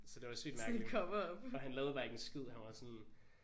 Så det var sygt mærkeligt for han lavede bare ikke en skid han var sådan